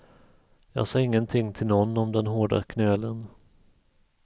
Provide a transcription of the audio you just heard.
Jag sade ingenting till någon om den hårda knölen.